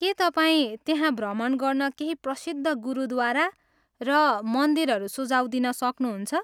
के तपाईँ त्यहाँ भ्रमण गर्न केही प्रसिद्ध गुरुद्वारा र मन्दिरहरू सुझाउ दिन सक्नुहुन्छ?